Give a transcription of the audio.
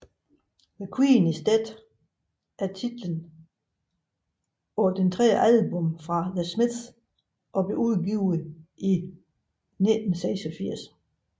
The Queen Is Dead er titlen på det tredje album fra The Smiths og blev udgivet i 1986